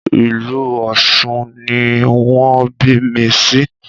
Ìlú Ọ̀sun ni wọn bí mi sí